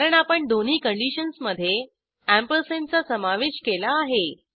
कारण आपण दोन्ही कंडिशन्समधे अँपरसँडचा समावेश केला आहे